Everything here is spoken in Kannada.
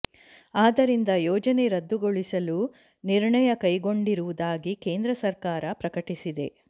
ಆದ್ದರಿಂದ ಯೋಜನೆ ರದ್ದುಗೊಳಿಸಲು ನಿರ್ಣಯ ಕೈಗೊಂಡಿರುವುದಾಗಿ ಕೇಂದ್ರ ಸರ್ಕಾರ ಪ್ರಕಟಿಸಿದೆ